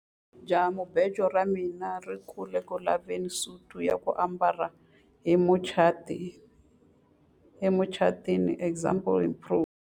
Jahamubejo ra mina ri ku le ku laveni ka suti ya ku ambala emucatwini example improved.